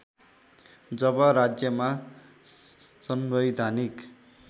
जब राज्‍यमा संवैधानिक